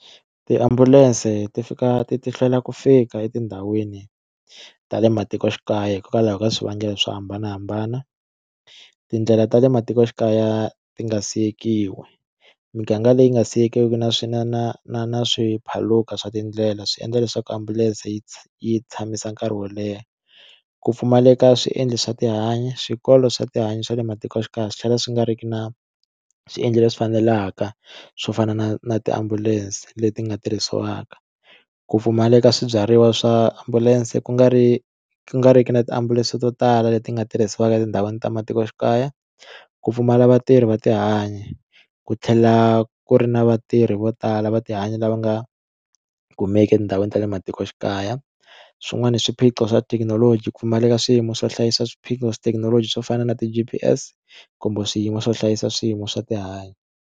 Tiambulense ti fika ti ti hlwela ku fika etindhawini ta le matikoxikaya hikokwalaho ka swivangelo swo hambanahambana, tindlela ta le matikoxikaya ti nga sikiwi miganga leyi nga siyeke na swi na na na na swi phaluka swa tindlela swi endla leswaku ambulense yi yi tshamisa nkarhi wo leha ku pfumaleka swiendlo swa tihanyi swikolo swa tihanyi swa le matikoxikaya swi tlhela swi nga ri ki na swiendlo leswi fanelaka swo fana na na tiambulense leti nga tirhisiwaka, ku pfumaleka swibyariwa swa ambulense ku nga ri ku nga ri ki na tiambulense to tala leti nga tirhisiwaka etindhawini ta matikoxikaya ku pfumala vatirhi va tihanyi ku tlhela ku ri na vatirhi vo tala va tihanyi lava nga kumeki etindhawini ta le matikoxikaya swin'wana swiphiqo swa thekinoloji ku pfumaleka swiyimo swo hlayisa swiphiqo swa thekinoloji swo fana na ti G_P_S kumbe swiyimo swo hlayisa swiyimo swa tihanyi.